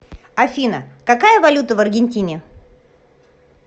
афина какая валюта в аргентине